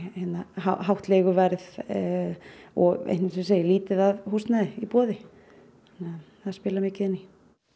hátt leiguverð og lítið af húsnæði í boði það spilar mikið inn í